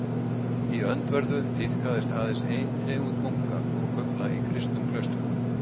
Í öndverðu tíðkaðist aðeins ein tegund munka og kufla í kristnum klaustrum.